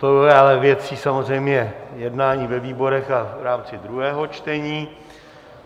To je ale věcí samozřejmě jednání ve výborech a v rámci druhého čtení.